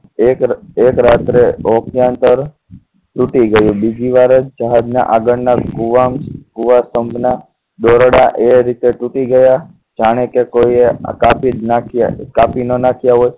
એક એક રાત્રે ઓકયંતર તૂટી ગયું અને બીજી વાર જહાજના આગળના કુવા કુવા સ્તંભના દોરડા એ રીતે તૂટી ગયા જાણે કે કોઈએ કાપી જ નાખ્યા કાપી ન નાખ્યા હોય